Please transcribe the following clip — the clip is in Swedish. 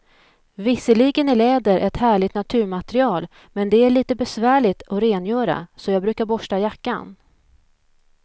Visserligen är läder ett härligt naturmaterial, men det är lite besvärligt att rengöra, så jag brukar borsta jackan.